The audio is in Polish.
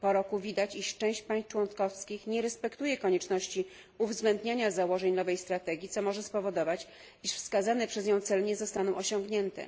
Po roku widać, że część państw członkowskich nie respektuje konieczności uwzględniania założeń nowej strategii, co może spowodować, że wskazane przez nią cele nie zostaną osiągnięte.